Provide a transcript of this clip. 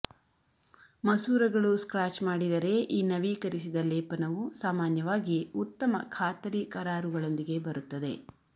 ಮಸೂರಗಳು ಸ್ಕ್ರಾಚ್ ಮಾಡಿದರೆ ಈ ನವೀಕರಿಸಿದ ಲೇಪನವು ಸಾಮಾನ್ಯವಾಗಿ ಉತ್ತಮ ಖಾತರಿ ಕರಾರುಗಳೊಂದಿಗೆ ಬರುತ್ತದೆ